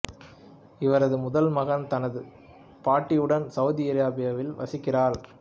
இவரது முதல் மகன் தனது பாட்டியுடன் சவுதி அரேபியாவில் வசிக்கிறார்